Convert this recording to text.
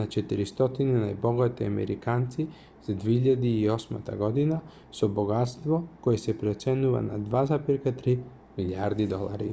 на 400 најбогати американци за 2008 година со богатство кое се проценува на $2,3 милијарди